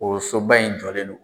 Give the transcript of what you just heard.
O soba in jɔlen don.